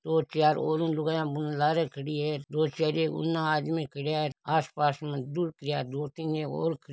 दो चार ओरु लुगाया लारे खड़ी है दो चार एक उन आदमी खड़्या है आसपास में दो तीन ऐ क और --